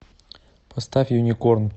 поставь юникорн